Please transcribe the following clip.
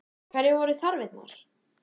Hverjar voru þarfirnar?